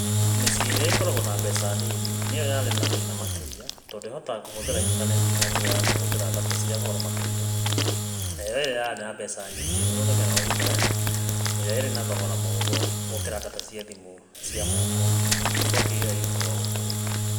“Mĩciĩ ĩrĩa ĩkoragwo na mbeca nini nĩyo yarĩ na thĩna makĩria tondũ ĩhotaga kũhũthĩra ĩntaneti na njĩra ya kũhũthĩra data cia goro makĩria, nayo ĩrĩa ĩrĩ na mbeca nyingĩ ĩhũthagĩra Wi-Fi, ĩrĩa ĩrĩ na thogora mũhũthũ gũkĩra data cia thimũ cia moko, " riboti ĩyo yugaga ũguo.